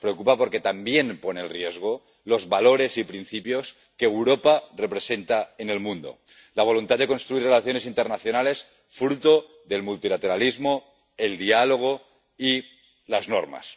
nos preocupa porque también pone en riesgo los valores y principios que Europa representa en el mundo la voluntad de construir relaciones internacionales fruto del multilateralismo, el diálogo y las normas.